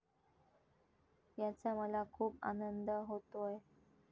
याचा मला खूप आनंद होतोय.